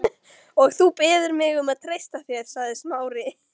Og þú biður mig um að treysta þér sagði Smári.